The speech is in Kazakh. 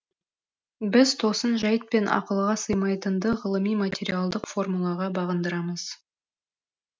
біз тосын жәйт пен ақылға сыймайтынды ғылыми материалдық формулаға бағындырамыз